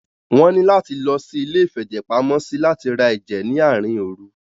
Wọ́n ní láti lọ sí iléìfẹ̀jẹ̀pamọ́sí láti rá ẹ̀jẹ̀ ní àárín òru.